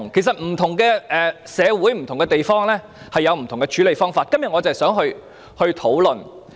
不同社會和地方有不同處理方法，我今天正是想就此進行討論。